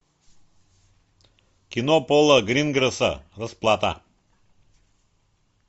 кино пола гринграсса расплата